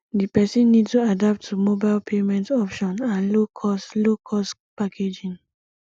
di person need to adapt to mobile payment option and low cost low cost packaging